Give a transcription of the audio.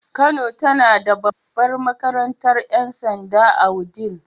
Kano tana da babbar makarantar 'yan sanda a wudil.